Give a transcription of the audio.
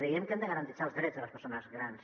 que hem de garantir els drets de les persones grans